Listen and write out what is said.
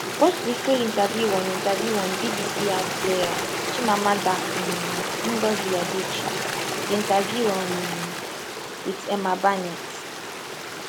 watch di full interview on interview on bbc iplayer chimamanda um ngozi adichie the interview um with emma barnett